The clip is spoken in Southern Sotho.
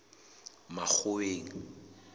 makgoweng